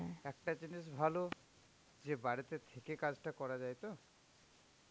একটা জিনিস ভালো যে বাড়িতে থাকে কাজটা করা যাই তো.